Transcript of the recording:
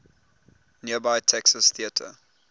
nearby texas theater